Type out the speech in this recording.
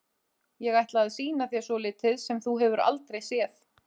Ég ætla að sýna þér svolítið sem þú hefur aldrei séð.